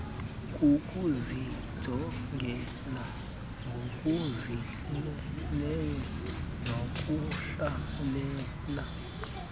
kukuzijongela ngokuzimeleyo nokuhlalela